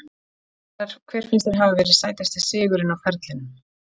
Hver finnst þér hafa verið sætasti sigurinn á ferlinum?